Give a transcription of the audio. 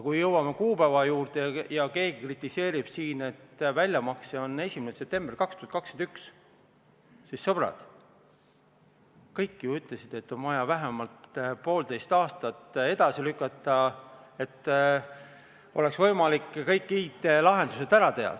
Kui jõuame kuupäevade juurde ja keegi kritiseerib siin, et väljamakse on 1. septembril 2021, siis, sõbrad, kõik ju ütlesid, et on vaja vähemalt poolteist aastat edasi lükata, et oleks võimalik kõik IT-lahendused ära teha.